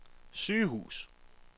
sygehus